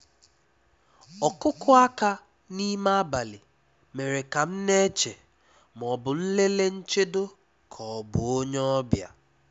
Ọ́kụ́kụ́ áká n’ímé ábalì mèré ká m ná-éché má ọ́ bụ̀ nlélé nchédò ká ọ́ bụ̀ ónyé ọ́bịà.